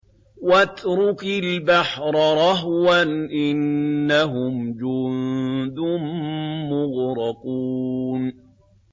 وَاتْرُكِ الْبَحْرَ رَهْوًا ۖ إِنَّهُمْ جُندٌ مُّغْرَقُونَ